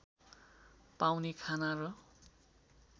पाउने खाना र